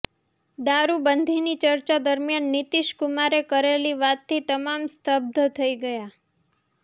દારૂબંધીની ચર્ચા દરમિયાન નીતિશ કુમારે કરેલી વાતથી તમામ સ્તબ્ધ થઇ ગયા